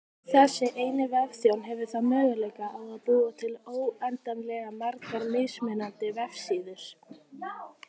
Þessi eini vefþjónn hefur þá möguleika á að búa til óendanlega margar mismunandi vefsíður.